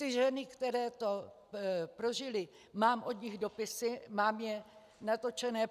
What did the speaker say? Od žen, které to prožily, mám od nich dopisy, mám je natočené.